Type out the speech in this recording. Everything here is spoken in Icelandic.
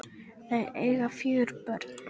Þau eiga fjögur börn.